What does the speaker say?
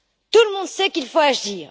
Tout le monde sait qu'il faut agir.